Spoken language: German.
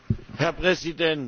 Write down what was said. Herr Präsident!